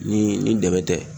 Ni ni dɛmɛ tɛ